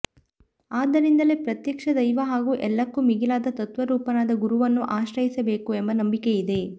ಆದ್ದರಿಂದಲೇ ಪ್ರತ್ಯಕ್ಷ ದೈವ ಹಾಗೂ ಎಲ್ಲಕ್ಕೂ ಮಿಗಿಲಾದ ತತ್ವರೂಪನಾದ ಗುರುವನ್ನು ಆಶ್ರಯಿಸಬೇಕು ಎಂಬ ನಂಬಿಕೆ ಇದೆ